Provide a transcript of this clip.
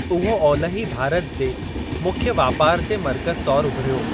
उहो ओलिही भारत जे मुख्य वापार जे मर्कज़ तौरु उभिरियो।